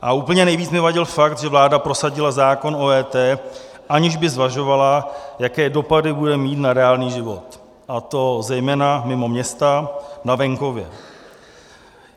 A úplně nejvíc mi vadil fakt, že vláda prosadila zákon o EET, aniž by zvažovala, jaké dopady bude mít na reálný život, a to zejména mimo města na venkově.